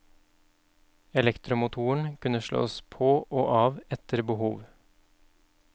Elektromotoren kunne slås på og av etter behov.